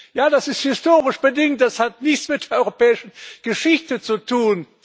Ja, das ist historisch bedingt, das hat nichts mit der europäischen Geschichte zu tun!